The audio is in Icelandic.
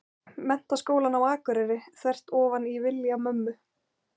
Menntaskólann á Akureyri, þvert ofan í vilja mömmu.